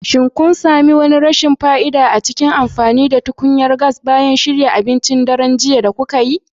Shin kun sami wani rashin fa'ida a cikin amfani da tukunyar gas bayan shirya abincin daren jiya da kukai?